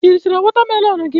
I richala wotamelon gi?